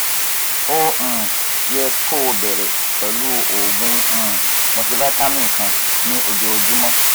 o um yẹ kó o bẹ̀rẹ̀ pẹ̀lú oogun multivitamin kan ní ojoojúmọ́